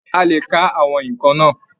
A lè kà àwọn nnkan náà.